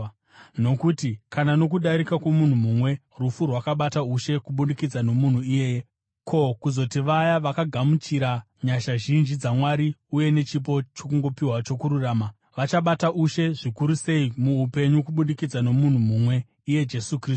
Nokuti, kana nokudarika kwomunhu mumwe, rufu rwakabata ushe kubudikidza nomunhu iyeye, ko, kuzoti vaya vakagamuchira nyasha zhinji dzaMwari uye nechipo chokungopiwa chokururama, vachabata ushe zvikuru sei muupenyu kubudikidza nomunhu mumwe, iye Jesu Kristu.